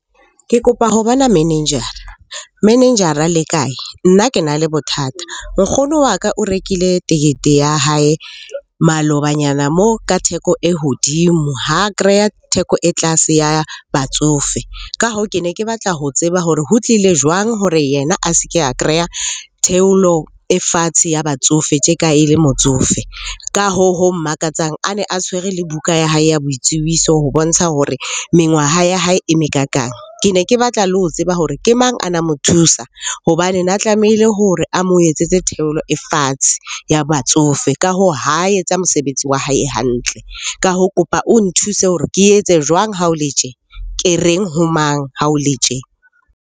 Ke kopa ho bona manager-ra. Manager-ra le kae? Nna ke na le bothata. Nkgono wa ka o rekile tekete ya hae malobanyana moo ka theko e hodimo, ha kreya theko e tlase ya batsofe. Ka hoo, ke ne ke batla ho tseba hore ho tlile jwang hore yena a se ke a kreya theolo e fatshe ya batsofe tje ka e le motsofe? Ka hoo, ho mmakatsang a ne a tshwere le buka ya hae ya boitsebiso ho bontsha hore mengwaha ya hae e mekakang. Ke ne ke batla le ho tseba hore ke mang a na mo thusa hobane na tlamehile hore a mo etsetse theolo e fatshe ya batsofe. Ka hoo, ha etsa mosebetsi wa hae hantle. Ka hoo, kopa o nthuse hore ke etse jwang ha o le tje? Ke reng ho mang ha o le tje?